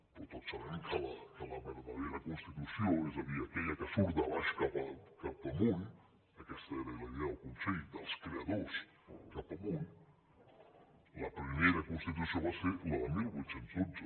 però tots sabem que la verdadera constitució és a dir aquella que surt de baix cap amunt aquesta era la idea del consell dels creadors cap amunt la primera constitució va ser la de divuit deu dos